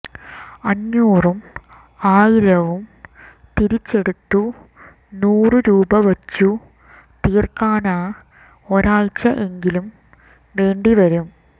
അഞ്ഞൂറും ആയിരവും തിരിച്ചെടുത്തു നൂറു രൂപ വച്ചു തീര്ക്കാന് ഒരാഴ്ച എങ്കിലും വേണ്ടിവരും